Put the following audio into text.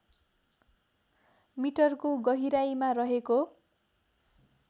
मिटरको गहिराईमा रहेको